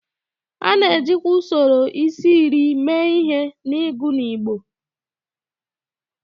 A na-ejikwa usoro isi-iri mee ihe n'ịgụ n'igbo